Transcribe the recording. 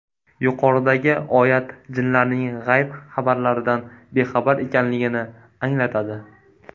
Yuqoridagi oyat jinlarning g‘ayb xabarlaridan bexabar ekanligini anglatadi.